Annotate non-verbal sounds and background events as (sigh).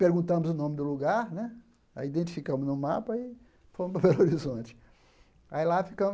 Perguntamos o nome do lugar né, aí identificamos no mapa e fomos (laughs) (unintelligible) horizonte.